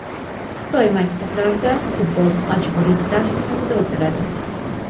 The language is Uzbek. Xitoy maktablarida futbol majburiy dars sifatida o‘tiladi.